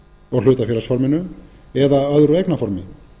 og hlutafélagsforminu eða öðru eignarformi